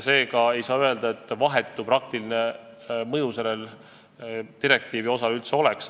Seega ei saa öelda, et sellel direktiivi osal üldse vahetut praktilist mõju oleks.